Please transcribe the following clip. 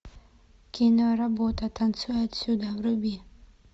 киноработа танцуй отсюда вруби